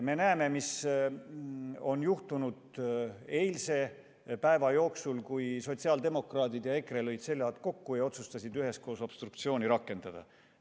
Me nägime, mis juhtus eilse päeva jooksul, kui sotsiaaldemokraadid ja EKRE lõid seljad kokku ja otsustasid üheskoos obstruktsiooni rakendada.